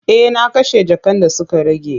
E, na kashe jakan da suka rage.